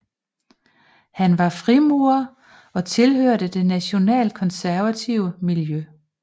Han var frimurer og tilhørte det nationalkonservative miljø